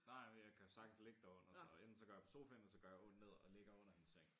Nej men jeg kan sagtens ligge derunder så enten så går jeg på sofaen ellers så går jeg ned og ligger under hendes seng